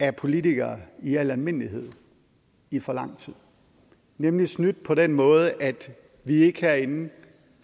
af politikere i al almindelighed i for lang tid nemlig snydt på den måde at vi ikke herinde